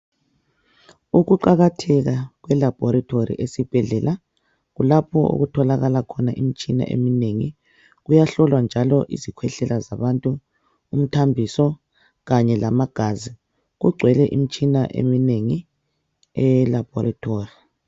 Ukuqakatheka kwelabhorethori esibhedlela, kulapho okutholakala khona imitshina eminengi. Kuyahlolwa njalo izikhwehlela zabantu, imithambiso kanye lamagazi. Kugcwele imitshina eminengi eyelapha